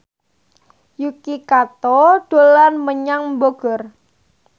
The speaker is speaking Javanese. Yuki Kato dolan menyang Bogor